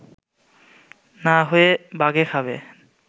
না হয় বাঘে খাবে